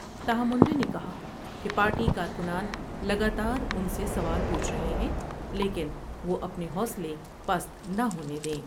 تاہم منڈے نے کہا کہ پارٹی کارکنان لگا تاران سے سوال پو چور ہے ہیں لیکن دو اپنے حوصلے پست نہ ہونے دیں ۔